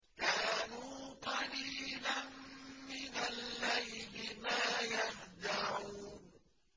كَانُوا قَلِيلًا مِّنَ اللَّيْلِ مَا يَهْجَعُونَ